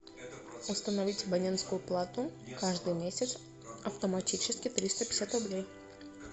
установить абонентскую плату каждый месяц автоматически триста пятьдесят рублей